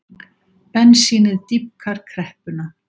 Bensínið dýpkar kreppuna